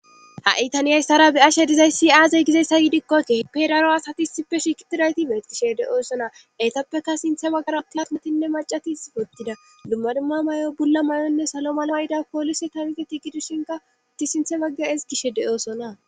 ha7i tanihayissara be7ashe dizayssi aazey gizeessa yiidikkokkehppe daro asati sippe shikitidayti beetgishe de7oosona eytappeka sinthe baggara aplametinne macatis ottida lumma dumma may7o bulla may7onne salo malo ayida poolise tanite ti gidushinka utti sinthe bagga esgishe de7oosona